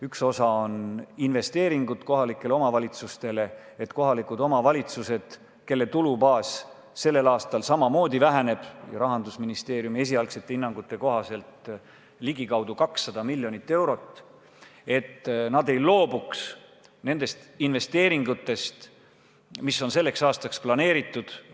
Üks osa on investeeringud kohalikele omavalitsustele, et omavalitsused, kelle tulubaas sellel aastal samamoodi väheneb – Rahandusministeeriumi esialgsete hinnangute kohaselt ligikaudu 200 miljonit eurot –, ei loobuks nendest investeeringutest, mis on selleks aastaks planeeritud.